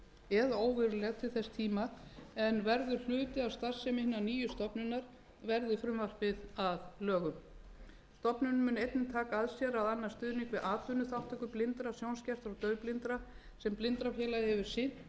eða óveruleg til þess tíma en verður hluti af starfsemi hinnar nýju stofnunar verði frumvarpið að lögum stofnunin mun einnig taka að sér að annast stuðning við atvinnuþátttöku blindra sjónskertra og daufblindra sem blindrafélagið hefur sinnt til